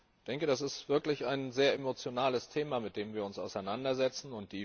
Ich denke, das ist wirklich ein sehr emotionales Thema, mit dem wir uns auseinandersetzen.